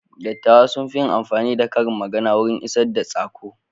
Dattawa sun fi yin amfani da karin magana wurin isar da tsako.